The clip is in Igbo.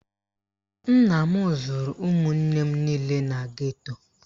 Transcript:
Nna m zụrụ ụmụnne m niile na geto